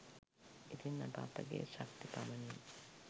ඉතින් අප අපගේ ශක්ති පමණින්